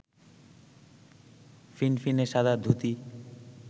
ফিনফিনে সাদা ধুতি